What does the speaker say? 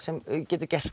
getum gert